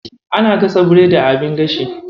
Ana gasa biredi a abin gashi.